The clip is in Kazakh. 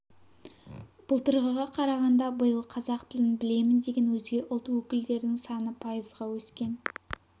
былтырғыға қарағанда биыл қазақ тілін білемін деген өзге ұлт өкілдерінің саны пайызға өскен